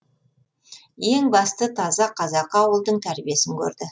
ең бастысы таза қазақы ауылдың тәрбиесін көрді